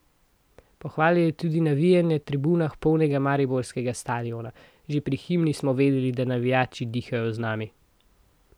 Pohvalil je tudi navijanje na tribunah polnega mariborskega stadiona: "Že pri himni smo videli, da navijači dihajo z nami.